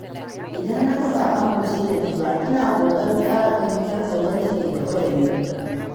Idan naga ba a amince da ni ba, ina ƙoƙarin ƙara fahimtar wanda ke gaba da ni.